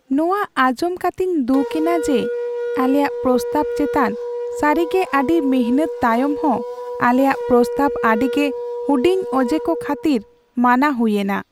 ᱱᱚᱶᱟ ᱟᱧᱡᱚᱢ ᱠᱟᱛᱮᱧ ᱫᱩᱠ ᱮᱱᱟ ᱡᱮ ᱟᱞᱮᱭᱟᱜ ᱯᱨᱚᱥᱛᱟᱵ ᱪᱮᱛᱟᱱ ᱥᱟᱹᱨᱤᱜᱮ ᱟᱹᱰᱤ ᱢᱤᱱᱦᱟᱹᱛ ᱛᱟᱭᱚᱢ ᱦᱚᱸ ᱟᱞᱮᱭᱟᱜ ᱯᱨᱚᱥᱛᱟᱵ ᱟᱹᱰᱤᱜᱮ ᱦᱩᱰᱤᱧ ᱚᱡᱮ ᱠᱚ ᱠᱷᱟᱹᱛᱤᱨ ᱢᱟᱱᱟ ᱦᱩᱭᱮᱱᱟ ᱾